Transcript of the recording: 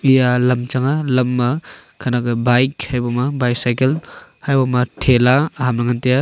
eya lam chang nga lam ma khanak ke bike haiboma bicycle haiboma thela aham ley ngan tiya.